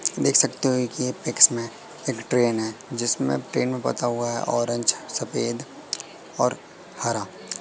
देख सकते हो कि ये पिक में एक ट्रेन है जिसमें ट्रेन को पोता हुआ है। ऑरेज सफेद और हरा--